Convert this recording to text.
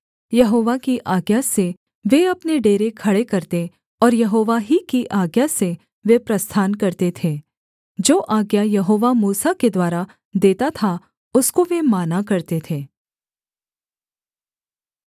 यहोवा की आज्ञा से वे अपने डेरे खड़े करते और यहोवा ही की आज्ञा से वे प्रस्थान करते थे जो आज्ञा यहोवा मूसा के द्वारा देता था उसको वे माना करते थे